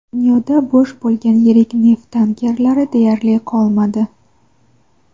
Dunyoda bo‘sh bo‘lgan yirik neft tankerlari deyarli qolmadi.